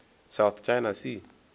south china sea